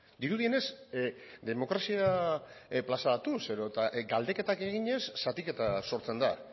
dirudienez demokrazia plazaratuz edota galdeketak eginez zatiketa sortzen da